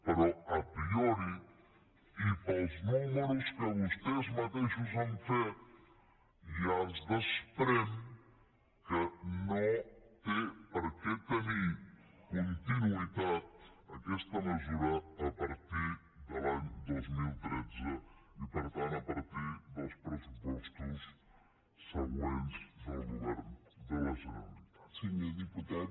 però a priori i pels números que vostès mateixos han fet ja es desprèn que no té per què tenir continuïtat aquesta mesura a partir de l’any dos mil tretze i per tant a partir dels pressupostos següents del govern de la generalitat